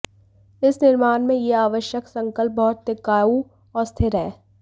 इस निर्माण में यह आवश्यक संकल्प बहुत टिकाऊ और स्थिर है